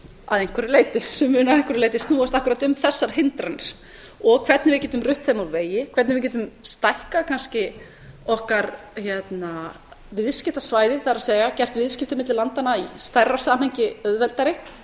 að einhverju leyti sem mun að einhverju leyti snúast akkúrat um þessar hindranir og hvernig við getum rutt þeim úr vegi hvernig við getum stækkað kannski okkar viðskiptasvæði það er gert viðskipti milli landanna í stærra samhengi auðveldari